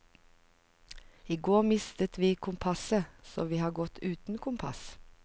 I går mistet vi kompasset, så vi har gått uten kompass.